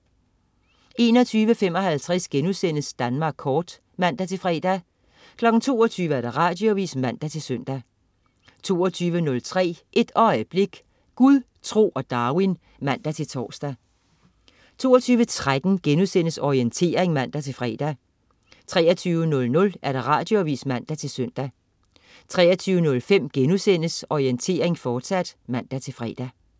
21.55 Danmark Kort* (man-fre) 22.00 Radioavis (man-søn) 22.03 Et øjeblik. Gud, tro og Darwin (man-tors) 22.13 Orientering* (man-fre) 23.00 Radioavis (man-søn) 23.05 Orientering, fortsat* (man-fre)